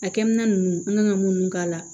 A kɛmina ninnu an kan ka mun k'a la